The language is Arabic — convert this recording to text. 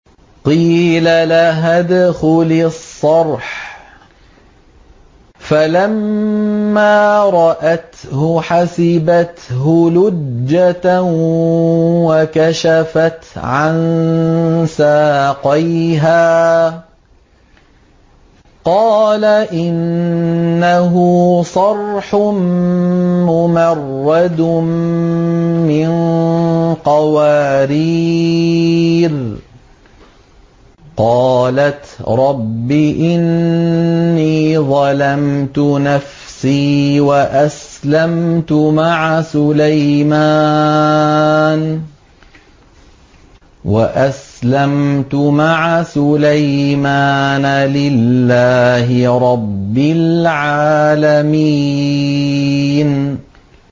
قِيلَ لَهَا ادْخُلِي الصَّرْحَ ۖ فَلَمَّا رَأَتْهُ حَسِبَتْهُ لُجَّةً وَكَشَفَتْ عَن سَاقَيْهَا ۚ قَالَ إِنَّهُ صَرْحٌ مُّمَرَّدٌ مِّن قَوَارِيرَ ۗ قَالَتْ رَبِّ إِنِّي ظَلَمْتُ نَفْسِي وَأَسْلَمْتُ مَعَ سُلَيْمَانَ لِلَّهِ رَبِّ الْعَالَمِينَ